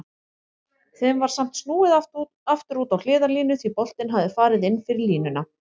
Þeim var samt snúið aftur út á hliðarlínu því boltinn hafði farið inn fyrir línuna.